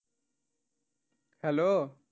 Hello